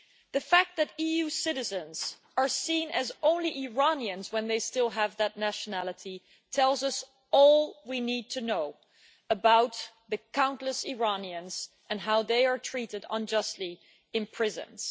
The fact that EU citizens are seen as only Iranians when they still have that nationality tells us all we need to know about the countless Iranians and how they are treated unjustly in prisons.